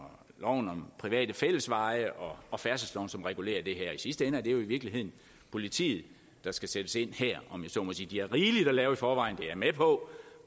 loven om private fællesveje og og færdselsloven som regulerer det her i sidste ende er det jo i virkeligheden politiet der skal sættes ind her om jeg så må sige de har rigeligt at lave i forvejen det er jeg med på